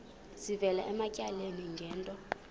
sivela ematyaleni ngento